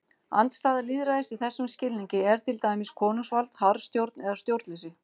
Andstæða lýðræðis í þessum skilningi er til dæmis konungsvald, harðstjórn eða stjórnleysi.